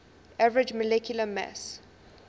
average molecular mass